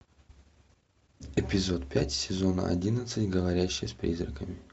эпизод пять сезона одиннадцать говорящий с призраками